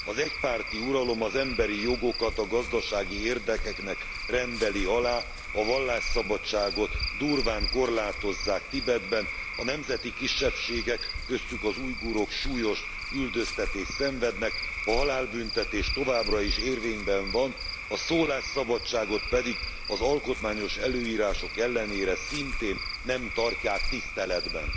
Az egypárti uralom az emberi jogokat a gazdasági érdekeknek rendeli alá, a vallásszabadságot durván korlátozzák Tibetben, a nemzeti kisebbségek köztük az ujgurok súlyos üldöztetést szenvednek, a halálbüntetés továbbra is érvényben van, a szólásszabadságot pedig az alkotmányos előírások ellenére szintén nem tartják tiszteletben.